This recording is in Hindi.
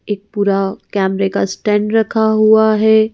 एक पूरा कैमरे का स्टैंड रखा हुआ है ।